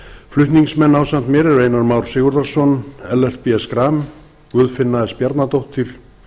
flutningsmenn ásamt mér eru háttvirtir þingmenn einar már sigurðarson ellert b schram guðfinna s bjarnadóttir